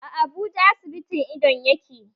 A Abuja asibitin idon yake